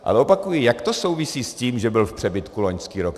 Ale opakuji, jak to souvisí s tím, že byl v přebytku loňský rok?